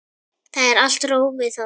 Það er allt rófið þarna.